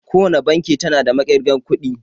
Kowace banki tana da maƙirgan kuɗi